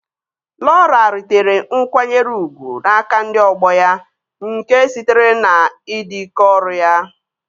Lọra ritere nkwanyere ugwu n'aka ndị ọgbọ ya nke sitere na ịdị ike ọrụ ya